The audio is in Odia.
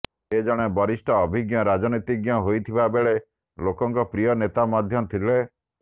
ସେ ଜଣେ ବରିଷ୍ଠ ଅଭିଜ୍ଞ ରାଜନୀତିଜ୍ଞ ହୋଇଥିବା ବେଳେ ଲୋକଙ୍କ ପ୍ରିୟ ନେତା ମଧ୍ୟ ଥିଲେ